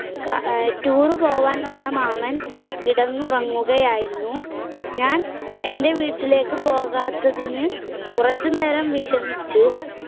കാ~ tour പോകാൻ വന്ന മാമൻ കിടന്നുറങ്ങുകയായിരുന്നു, ഞാൻ എന്റെ വീട്ടിലേക്ക് പോകാത്തതിന് കുറച്ചു നേരം വിഷമിച്ചു